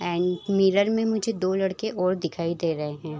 And mirror में मुझे दो लड़के और दिखाई दे रहें हैं ।